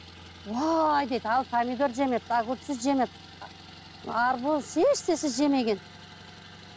уай дейді ал помидор жемепті огурцы жемепті арбуз ешнәрсе жемеген